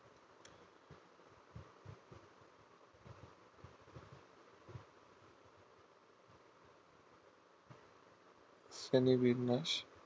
Sony বিন্যাস